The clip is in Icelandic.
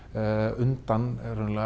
undan